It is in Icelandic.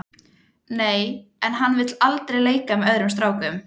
Nei en hann vill aldrei leika með öðrum strákum.